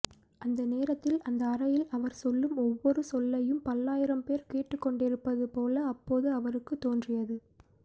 அந்த நேரத்தில் அந்த அறையில் அவர் சொல்லும் ஒவ்வொரு சொல்லையும் பல்லாயிரம்பேர் கேட்டுக்கொண்டிருப்பது போல அப்போது அவருக்குத் தோன்றியது